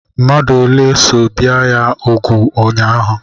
Mmadụ ole so bie ya úgwù ụnyaahụ?